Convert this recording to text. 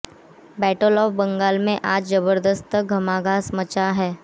battle of Bengal में आज जबर्दस्त घमासान मचा है